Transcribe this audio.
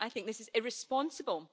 I think this is irresponsible.